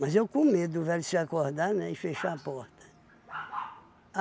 Mas eu com medo do velho se acordar, né, e fechar a porta.